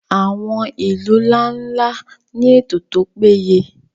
àwọn ilu nla-nla ni eto to peye